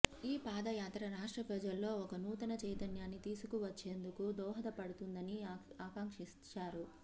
ఈ పాదయాత్ర రాష్ట్ర ప్రజల్లో ఒక నూతన చైతన్యాన్ని తీసుకువచ్చేందుకు దోహద పడుతుందని ఆకాంక్షించారు